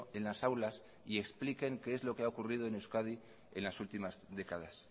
en las aulas y expliquen qué es lo que ha ocurrido en euskadi en las últimas décadas